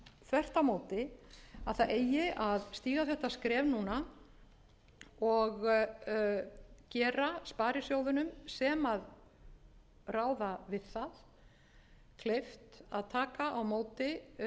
á móti að það eigi að stíga þetta skref núna og gera sparisjóðunum sem ráða við það kleift að taka á móti